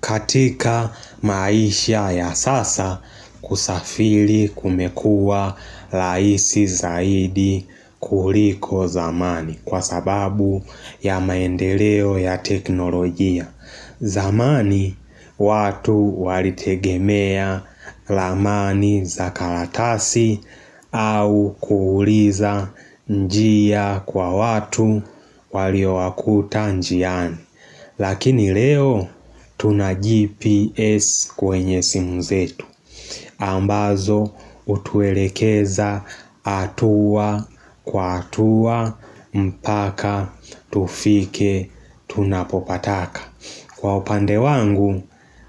Katika maisha ya sasa kusafiri kumekua rahisi zaidi kuliko zamani kwa sababu ya maendeleo ya teknolojia. Zamani watu walitegemea ramani za karatasi au kuuliza njia kwa watu waliowakuta njiani. Lakini leo tuna GPS kwenye simu zetu. Ambazo hutuelekeza hatua kwa hatua mpaka tufike tunapopataka. Kwa upande wangu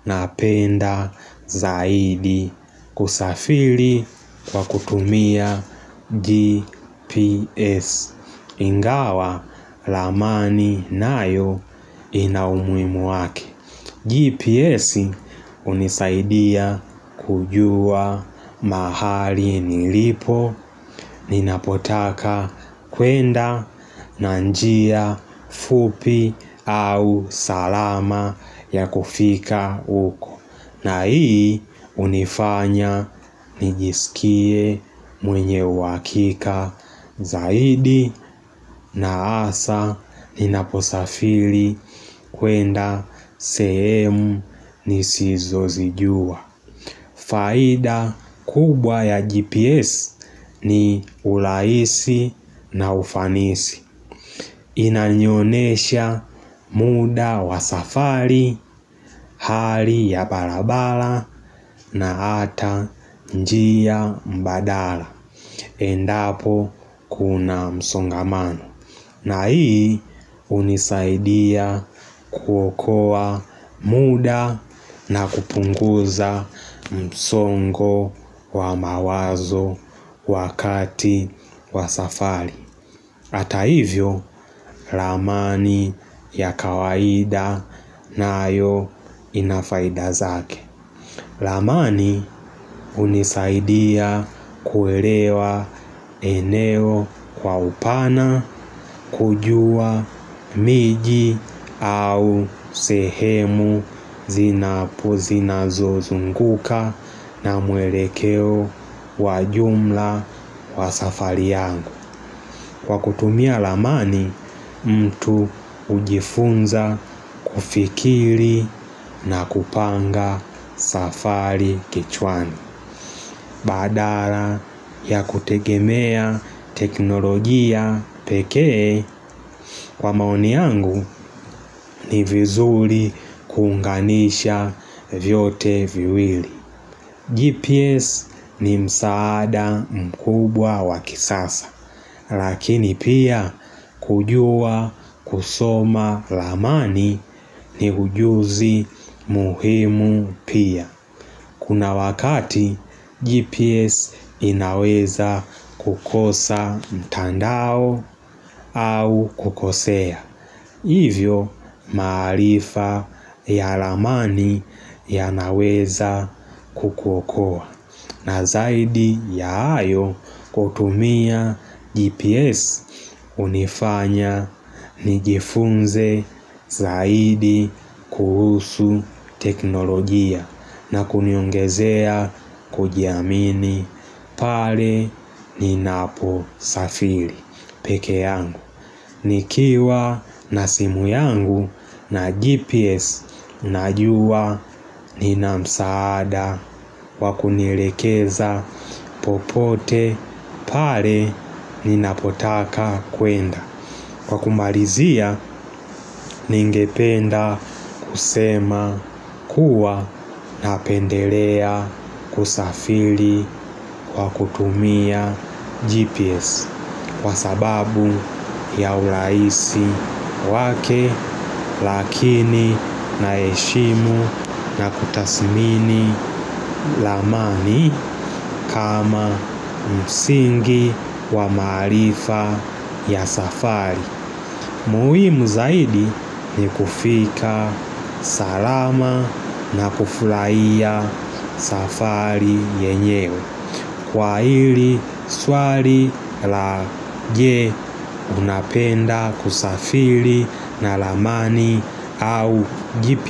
napenda zaidi kusafili kwa kutumia GPS ingawa ramani nayo inaumuhimu wake. GPS hunisaidia kujua mahali nilipo Ninapotaka kwenda na njia fupi au salama ya kufika huko na hii hunifanya nijisikie mwenye uhakika zaidi na hasa ninaposafili kwenda sehemu nisizozijua. Faida kubwa ya GPS ni urahisi na ufanisi. Inanionyesha muda wa safari, hali ya barabara na hata njia mbadala. Endapo kuna msongamano. Na hii hunisaidia kuokoa muda na kupunguza msongo wa mawazo wakati wa safari. Hata hivyo, ramani ya kawaida nayo inafaida zake. Armani hunisaidia kuelewa eneo kwa upana kujua miji au sehemu zinapo zinazozunguka na mwelekeo wa jumla wa safari yangu. Kwa kutumia ramani mtu hujifunza kufikiri na kupanga safari kichwani badala ya kutegemea teknolojia pekee kwa maoni yangu ni vizuri kuunganisha vyote viwili, GPS ni msaada mkubwa wakisasa Lakini pia kujua kusoma ramani ni ujuzi muhimu pia. Kuna wakati GPS inaweza kukosa mtandao au kukosea. Hivyo maarifa ya ramani yanaweza kukuokoa. Na zaidi ya hayo kutumia GPS hunifanya nijifunze zaidi kuhusu teknolojia na kuniongezea kujiamini pale ninapo safiri pekee yangu. Nikiwa na simu yangu na GPS najua nina msaada wakunielekeza popote pale ninapotaka kwenda Kwa kumalizia ningependa kusema kuwa napendelea kusafiri kwa kutumia GPS kwa sababu ya urahisi wake lakini na heshimu na kutasimini ramani kama msingi wa maarifa ya safari. Muhimu zaidi ni kufika salama na kufurahia safari yenyewe. Kwa hili swali la je unapenda kusafiri na ramani au GPS.